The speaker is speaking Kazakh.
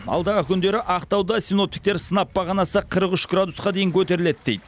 алдағы күндері ақтауда синоптиктер сынап бағанасы қырық үш градусқа дейін көтеріледі дейді